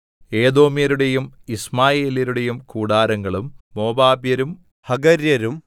ഏദോമ്യരുടെയും യിശ്മായേല്യരുടെയും കൂടാരങ്ങളും മോവാബ്യരും ഹഗര്യരും